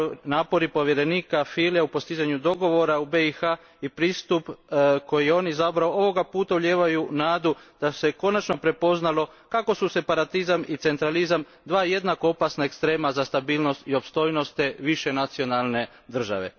Napori povjerenika Fülea u postizanju dogovora u BiH i pristup koji je on izabrao ovoga puta ulijevaju nadu da se konačno prepoznalo kako su separatizam i centralizam dva jednako opasna ekstrema za stabilnost i opstojnost te višenacionalne države.